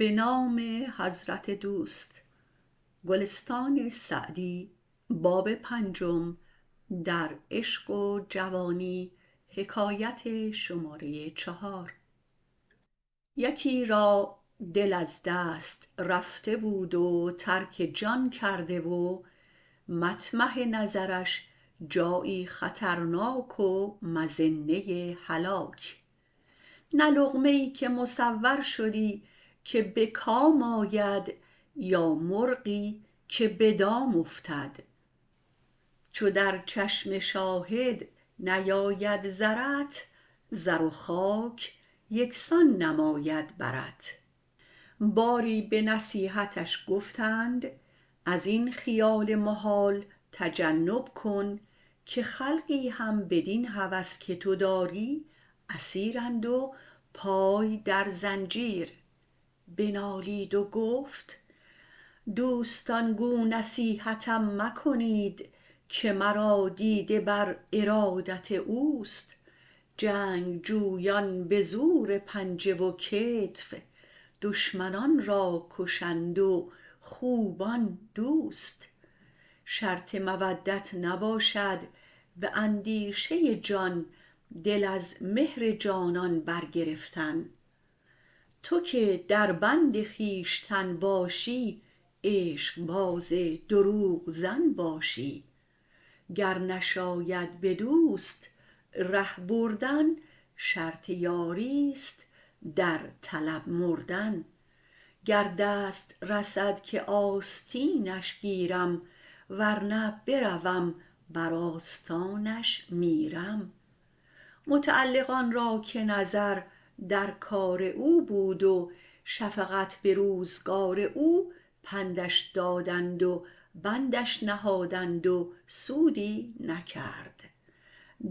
یکی را دل از دست رفته بود و ترک جان کرده و مطمح نظرش جایی خطرناک و مظنه هلاک نه لقمه ای که مصور شدی که به کام آید یا مرغی که به دام افتد چو در چشم شاهد نیاید زرت زر و خاک یکسان نماید برت باری به نصیحتش گفتند از این خیال محال تجنب کن که خلقی هم بدین هوس که تو داری اسیرند و پای در زنجیر بنالید و گفت دوستان گو نصیحتم مکنید که مرا دیده بر ارادت اوست جنگجویان به زور پنجه و کتف دشمنان را کشند و خوبان دوست شرط مودت نباشد به اندیشه جان دل از مهر جانان برگرفتن تو که در بند خویشتن باشی عشق باز دروغ زن باشی گر نشاید به دوست ره بردن شرط یاری است در طلب مردن گر دست رسد که آستینش گیرم ور نه بروم بر آستانش میرم متعلقان را که نظر در کار او بود و شفقت به روزگار او پندش دادند و بندش نهادند و سودی نکرد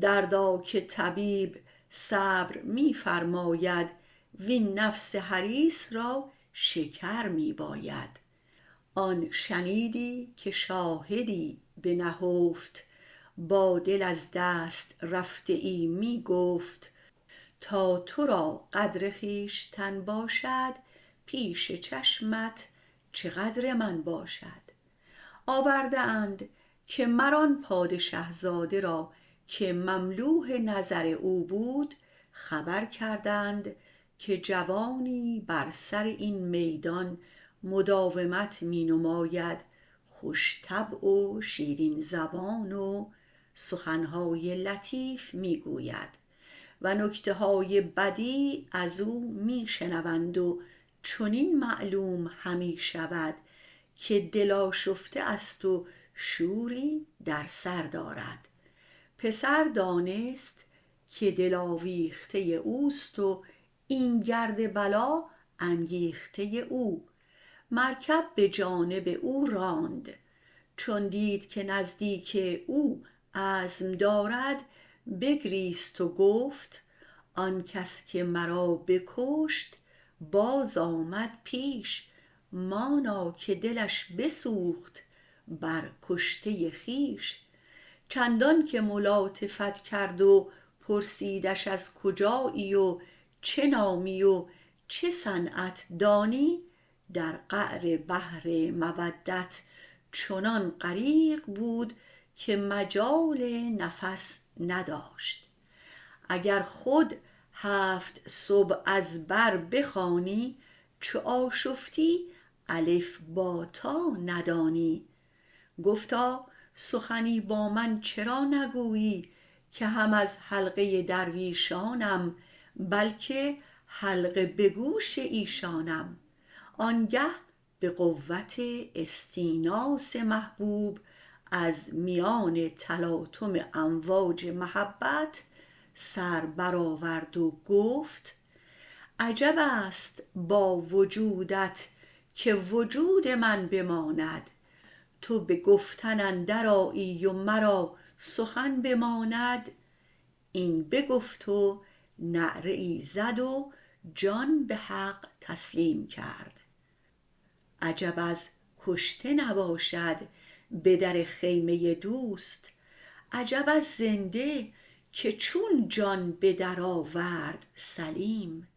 دردا که طبیب صبر می فرماید وین نفس حریص را شکر می باید آن شنیدی که شاهدی به نهفت با دل از دست رفته ای می گفت تا تو را قدر خویشتن باشد پیش چشمت چه قدر من باشد آورده اند که مر آن پادشه زاده که مملوح نظر او بود خبر کردند که جوانی بر سر این میدان مداومت می نماید خوش طبع و شیرین زبان و سخن های لطیف می گوید و نکته های بدیع از او می شنوند و چنین معلوم همی شود که دل آشفته است و شوری در سر دارد پسر دانست که دل آویخته اوست و این گرد بلا انگیخته او مرکب به جانب او راند چون دید که نزدیک او عزم دارد بگریست و گفت آن کس که مرا بکشت باز آمد پیش مانا که دلش بسوخت بر کشته خویش چندان که ملاطفت کرد و پرسیدش از کجایی و چه نامی و چه صنعت دانی در قعر بحر مودت چنان غریق بود که مجال نفس نداشت اگر خود هفت سبع از بر بخوانی چو آشفتی الف ب ت ندانی گفتا سخنی با من چرا نگویی که هم از حلقه درویشانم بلکه حلقه به گوش ایشانم آن گه به قوت استیناس محبوب از میان تلاطم امواج محبت سر برآورد و گفت عجب است با وجودت که وجود من بماند تو به گفتن اندر آیی و مرا سخن بماند این بگفت و نعره ای زد و جان به حق تسلیم کرد عجب از کشته نباشد به در خیمه دوست عجب از زنده که چون جان به در آورد سلیم